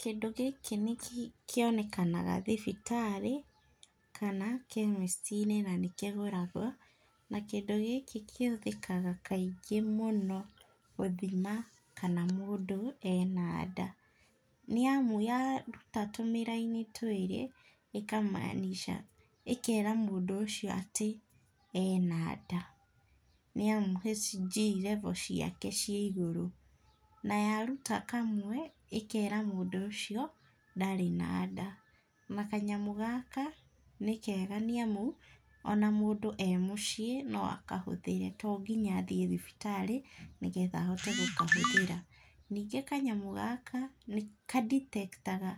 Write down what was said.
Kĩndũ gĩkĩ kĩonekanaga thibitarĩ kana kemesti-inĩ, na nĩkĩgũragwo, kĩndũ gĩkĩ kĩhũthĩkaga kaingĩ mũno, gũthima kana mũndũ enda nda nĩ amu yaruta tũmĩraini twĩrĩ ĩkamaanisha ĩkera mũndũ ũcio atĩ ena nda, nĩ amu hg level ciake ci igũrũ , na yaruta kamwe ĩkera mũndũ ũcio atĩ ndarĩ na nda , na kanyamũ nĩ kega nĩ amu ona mũndũ e mũciĩ no akahũthĩre to nginya athiĩ thibitarĩ nĩgetha ahote gũkahũthĩra, ningĩ kanyamũ gaka nĩkaditektaga ,